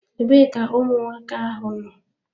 Ebee ka ụmụaka ahụ nọ?